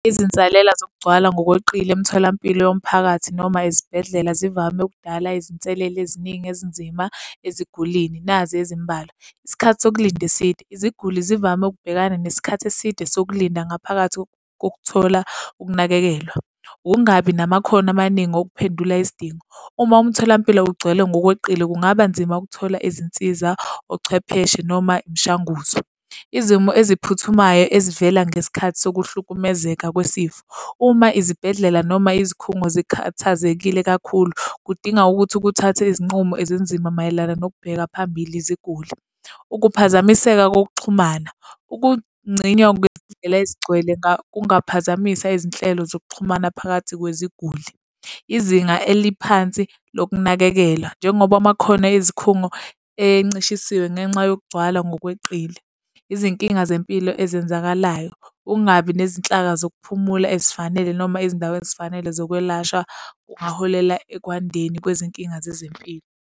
Izinsalela zokugcwala ngokweqile emtholampilo yomphakathi noma izibhedlela zivame ukudala izinselele eziningi ezinzima ezigulini. Nazi ezimbalwa. Isikhathi sokulinda eside. Iziguli zivame ukubhekana nesikhathi eside sokulinda ngaphakathi kokuthola ukunakekelwa. Ukungabi namakhono amaningi okuphendula isidingo. Uma umtholampilo ugcwele ngokweqile, kungaba nzima ukuthola izinsiza, ochwepheshe noma imishanguzo. Izimo eziphuthumayo ezivela ngesikhathi sokuhlukumezeka kwesifo. Uma izibhedlela noma izikhungo sikhathazekile kakhulu, kudinga ukuthi ukuthathe izinqumo ezinzima mayelana nokubheka phambili iziguli. Ukuphazamiseka kokuxhumana. Ukungcinywa kwezindlela ezigcwele kungaphazamisa izinhlelo zokuxhumana phakathi kweziguli. Izinga eliphansi lokunakekela, njengoba amakhono ezikhungo encishisiwe ngenxa yokugcwala ngokweqile. Izinkinga zempilo ezenzakalayo. Ukungabi nezinhlaka zokuphumula ezifanele noma ezindaweni ezifanele zokwelashwa kungaholela ekwandeni kwezinkinga zezempilo.